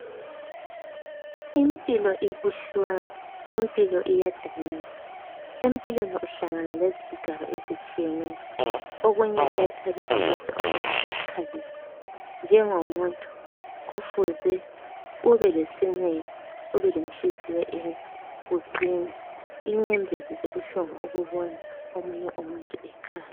Impilo ibuhlungu impilo iyadanisa empilweni uhlangana lezigigaba ezitshiyeneyo okunye kuyathabisa kodwa okunye kuyakhalisa njengomuntu kumele ubelenhliziyo enhle uqine inyembezi zibuhlungu ukuboka omunye umuntu ekhala